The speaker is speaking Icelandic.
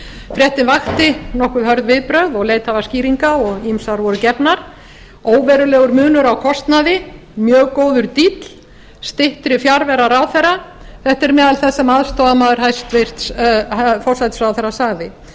fréttin vakti nokkuð hörð viðbrögð og leitað var skýringa og ýmsar voru gefnar óverulegur munur á kostnaði mjög góður díll styttri fjarvera ráðherra þetta er meðal þess sem aðstoðarmaður hæstvirtur forsætisráðherra sagði